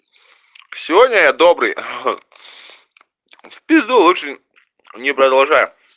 сегодня я добрый в пизду лучше не продолжаю